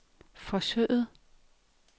forsøget